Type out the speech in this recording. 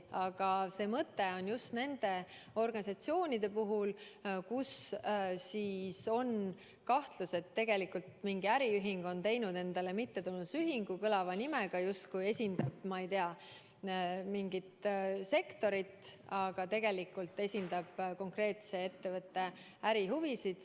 Aga mõte on kontrollida just neid organisatsioone, kelle puhul on kahtlus, et tegelikult mingi äriühing on teinud endale kõlava nimega mittetulundusühingu, kes justkui esindab, ma ei tea, mingit sektorit, aga tegelikult esindab konkreetse ettevõtte ärihuvisid.